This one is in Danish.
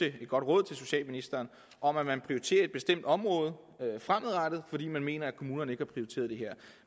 et godt råd til socialministeren om at man prioriterer et bestemt område fremadrettet fordi man mener at kommunerne ikke har prioriteret det her